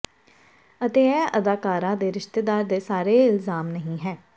ਅਤੇ ਇਹ ਅਦਾਕਾਰਾ ਦੇ ਰਿਸ਼ਤੇਦਾਰ ਦੇ ਸਾਰੇ ਇਲਜ਼ਾਮ ਨਹੀਂ ਹੈ